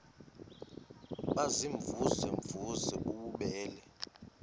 baziimvuze mvuze bububele